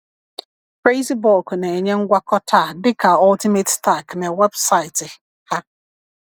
CrazyBulk na-enye ngwakọta a dịka Ultimate Stack na weebụsaịtị ha.